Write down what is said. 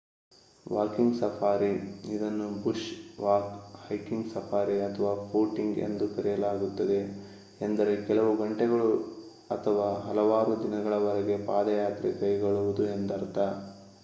walking safari ಇದನ್ನು bush walk hiking safari ಅಥವಾ footing ಎಂದು ಕರೆಯಲಾಗುತ್ತದೆ ಎಂದರೆ ಕೆಲವು ಗಂಟೆಗಳು ಅಥವಾ ಹಲವಾರು ದಿನಗಳವರೆಗೆ ಪಾದಯಾತ್ರೆ ಕೈಗೊಳ್ಳುವುದು ಎಂದರ್ಥ